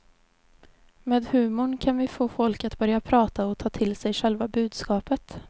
Med humor kan vi få folk att börja prata och ta till sig själva budskapet.